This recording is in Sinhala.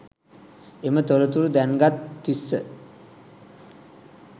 එම තොරතුරු දැන්ගත් තිස්ස